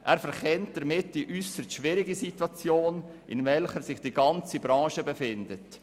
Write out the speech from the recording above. Er verkennt damit die äusserst schwierige Situation, in welcher sich die ganze Branche befindet.